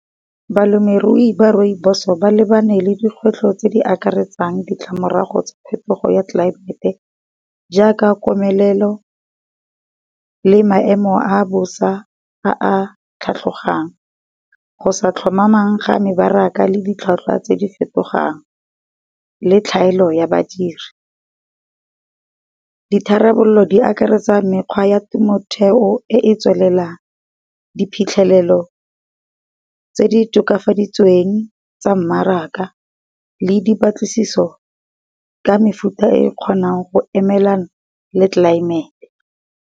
Balemirui ba Rooibos ba lebane le dikgwetlho tse di akaretsang ditlamorago tsa phetogo ya tlelaemete, jaaka komelelo, le maemo a bosa a a tlhatlhogang. Go sa tlhomamang ga mebaraka le ditlhwatlhwa tse di fetogang, le tlhaelo ya badiri. Ditharabololo di akaretsa mekgwa ya temothuo e e tswelelang, diphitlhelelo tse di tokafaditsweng tsa mmaraka le dipatlisiso ka mefuta e kgonang go emelana le tlelaemete.